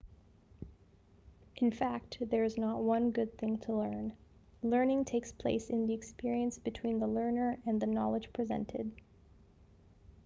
in fact there is not one good thing to learn.learning takes place in the experience between the learner and the knowledge presented